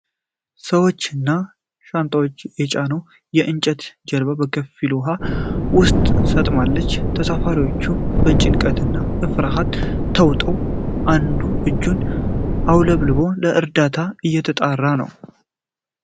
ሰዎች እና ሻንጣዎች የጫነች የእንጨት ጀልባ በከፊል ውሀ ውስጥ ሰጥማለች። ተሳፋሪዎቹ በጭንቀትና በፍርሃት ተውጠው፣ አንዱ እጁን አውለብልቦ ለእርዳታ እየተጣራ ነው።